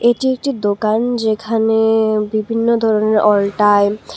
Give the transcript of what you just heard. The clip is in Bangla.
এটি একটি দোকান যেখানে বিভিন্ন ধরনের অলটাইম --